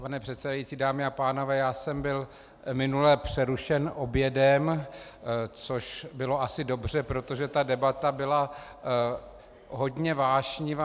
Pane předsedající, dámy a pánové, já jsem byl minule přerušen obědem, což bylo asi dobře, protože ta debata byla hodně vášnivá.